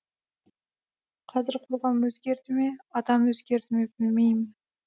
қазір қоғам өзгерді ме адам өзгерді ме білмеймін